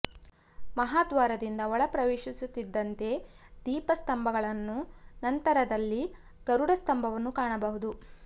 ಮಹಾದ್ವಾರದಿಂದ ಒಳ ಪ್ರವೇಶಿಸುತ್ತಿದ್ದಂತೆಯೆ ದೀಪ ಸ್ಥಂಬಗಳನ್ನು ನಂತರದಲ್ಲಿ ಗರುಡ ಸ್ಥಂಬವನ್ನು ಕಾಣಬಹುದು